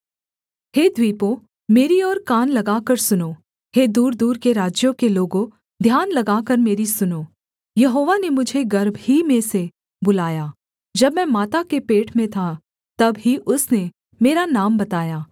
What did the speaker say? हे द्वीपों मेरी और कान लगाकर सुनो हे दूरदूर के राज्यों के लोगों ध्यान लगाकर मेरी सुनो यहोवा ने मुझे गर्भ ही में से बुलाया जब मैं माता के पेट में था तब ही उसने मेरा नाम बताया